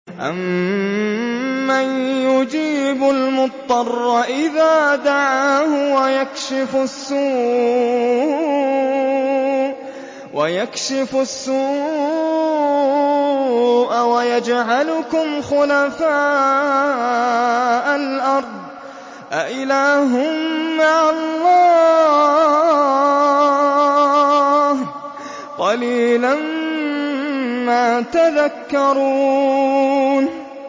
أَمَّن يُجِيبُ الْمُضْطَرَّ إِذَا دَعَاهُ وَيَكْشِفُ السُّوءَ وَيَجْعَلُكُمْ خُلَفَاءَ الْأَرْضِ ۗ أَإِلَٰهٌ مَّعَ اللَّهِ ۚ قَلِيلًا مَّا تَذَكَّرُونَ